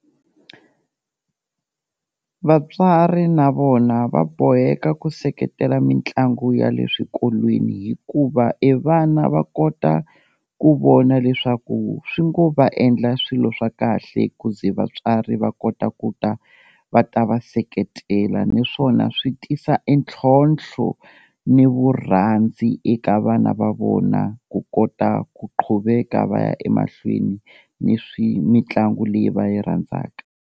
Vatswari na vona va boheka ku seketela mitlangu ya le swikolweni hikuva e vana va kota ku vona leswaku swi ngo va endla swilo swa kahle ku ze vatswari va kota ku ta va ta va seketela, niswona swi tisa e ntlhontlho ni vurhandzi eka vana va vona ku kota ku qhuveka va ya emahlweni, ni swi mitlangu leyi va yi rhandzaka.